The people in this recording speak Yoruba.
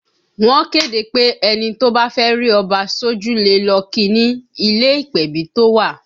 Wọ́n kéde pé ẹni tó bá fẹ́ rí Ọba sójú le lọ kí i ni ilé ìpèbí tó wà